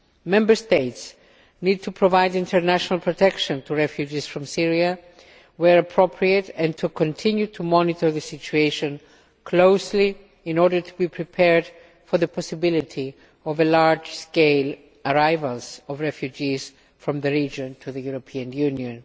Member States need to provide international protection for refugees from Syria where appropriate, and to continue to monitor the situation closely in order to be prepared for the possibility of a large scale arrival of refugees from the region in the European Union.